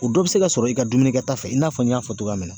O dɔ bɛ se ka sɔrɔ i ka dumunikɛta fɛ i n'a fɔ n y'a fɔ cogoya min na.